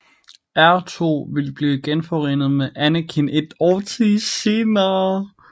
R2 ville blive genforenet med Anakin et årti senere